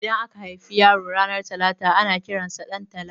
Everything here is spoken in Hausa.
Idan aka haifi yaro ranar talata ana kiransa Ɗantala